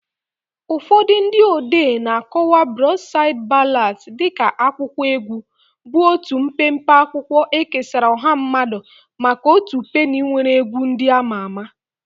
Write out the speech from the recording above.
Ụfọdụ ndị odee na-akọwa Broadside Ballads dị ka akwụkwọ egwu, bụ otu mpempe akwụkwọ ekesara ọha mmadụ maka otu penny nwere egwu ndị ama ama.